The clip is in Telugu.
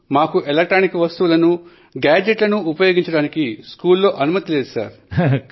ఎటువంటి ఇలెక్ట్రానిక్ సాధనాలను గానీ లేదా గాడ్జెట్ లను గానీ ఉపయోగించడానికి స్కూల్ లో మాకు అనుమతి ఇవ్వరు